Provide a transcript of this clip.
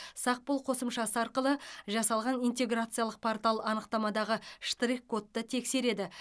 сақ бол қосымшасы арқылы жасалған интеграциялық портал анықтамадағы штрих кодты тексереді